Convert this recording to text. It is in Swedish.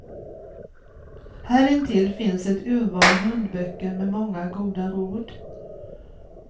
Här intill finns ett urval hundböcker med många goda råd.